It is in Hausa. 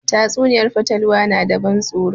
Tatsuniyar fatalwa na da ban tsoro